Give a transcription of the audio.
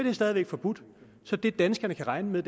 er stadig væk forbudt så det danskerne kan regne med